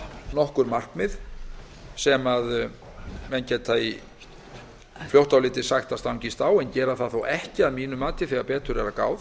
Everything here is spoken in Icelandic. nokkur markmið sem menn geta fljótt á litið sagt að stangist á en gera það þó ekki að mínu mati þegar betur